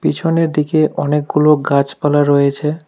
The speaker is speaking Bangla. পিছনের দিকে অনেকগুলো গাছপালা রয়েছে।